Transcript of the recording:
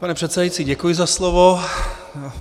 Pane předsedající, děkuji za slovo.